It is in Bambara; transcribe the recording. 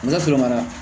N ka foro mara